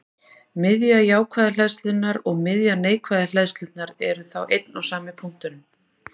Miðja jákvæðu hleðslunnar og miðja neikvæðu hleðslunnar eru þá einn og sami punkturinn.